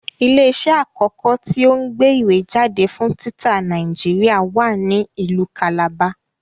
Ilé iṣẹ́ àkọ́kọ́ tí o ń gbé ìwé jáde fún títa Nàìjíríà wa ní ìlú Calabar